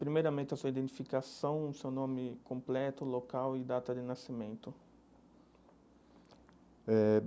Primeiramente, a sua identificação, o seu nome completo, local e data de nascimento eh.